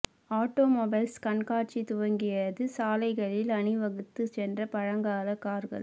auto mobiles கண்காட்சி துவங்கியது சாலைகளில் அணிவகுத்து சென்ற பழங்கால கார்கள்